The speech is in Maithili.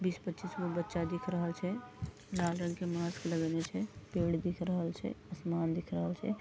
बीस पचीसगो बच्चा दिख रहल छै लाल रंग के मास्क लगइने छै पेड़ दिख रहल छै आसमान दिख रहल छै।